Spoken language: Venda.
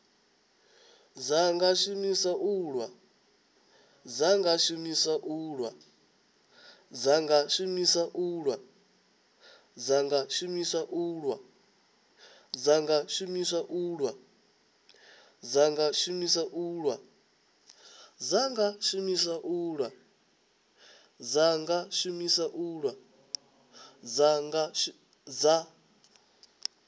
dza nga shumiswa u lwa